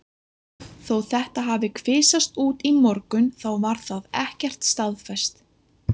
Þó þetta hafi kvisast út í morgun þá var það ekkert staðfest.